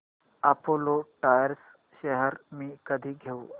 Apollo Tyres shares मी कधी घेऊ